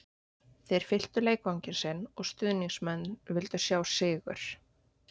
Þeir fylltu leikvanginn sinn og stuðningsmenn vildu sjá sigur